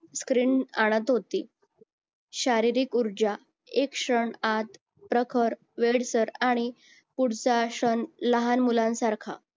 screen आणत होती शारीरिक ऊर्जा एक क्षणात प्रखर वेडसर आणि पुढचा क्षण लहान मुलांसारखा